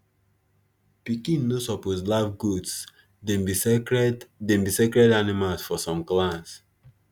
pikin no suppose laugh goats them be sacred them be sacred animals for some clans